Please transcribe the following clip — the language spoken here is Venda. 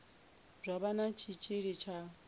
zwa vha na tshitshili tsha